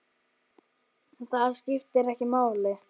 En það skiptir ekki máli.